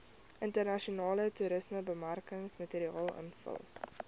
internasionale toerismebemarkingsmateriaal invul